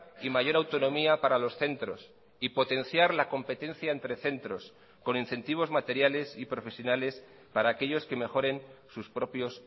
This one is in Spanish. y mayor autonomía para los centros y potenciar la competencia entre centros con incentivos materiales y profesionales para aquellos que mejoren sus propios